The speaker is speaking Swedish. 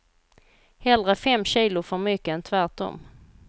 Hellre fem kilo för mycket än tvärtom.